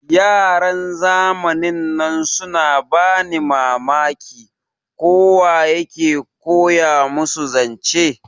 Yaran zamanin nan suna bani Mamaki, ko wa ya ke koya musu zance.